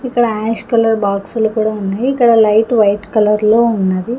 ఇక్కడ ash colour బాక్సులు కూడా ఉన్నాయి ఇక్కడ లైట్ వైట్ కలర్లో ఉన్నది.